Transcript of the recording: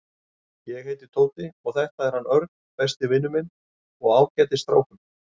Ég heiti Tóti og þetta er hann Örn, besti vinur minn og ágætis strákur.